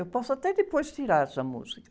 Eu posso até depois tirar essa música.